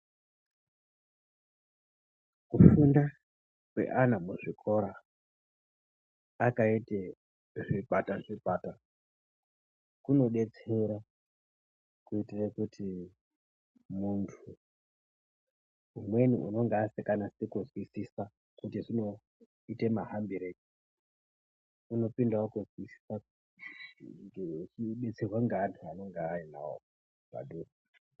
Kufunda kweana muzvikora akaite zvikwata zvikwata kunodetsera kuitire kuti muntu umweni unenge asinganasi kuzwisisa kuti zvinoite mahambirei unopindawo kuzwisisa nekudetserwa ngeantu anonga ainawo padhuze.